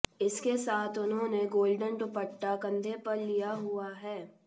इसके साथ उन्होंने गोल्डन दुप्ट्टा कंधे पर लिया हुआ है